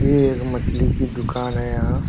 ये एक मछली की दुकान है यहाँ --